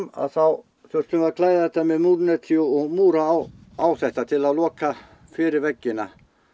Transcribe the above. þá þurftum við að klæða þetta með múrneti og múra á á þetta til að loka fyrir veggina